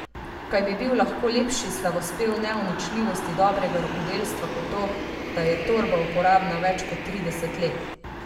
Kaj bi bil lahko lepši slavospev neuničljivosti dobrega rokodelstva kot to, da je torba uporabna več kot trideset let!